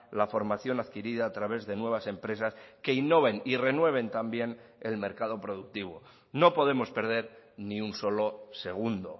la formación adquirida a través de nuevas empresas que innoven y renueven también el mercado productivo no podemos perder ni un solo segundo